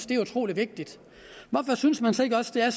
det er utrolig vigtigt hvorfor synes man så ikke også det er